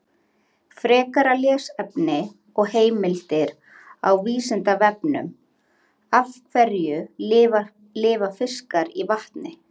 Frekara lesefni og heimildir á Vísindavefnum: Af hverju lifa fiskar í vatni?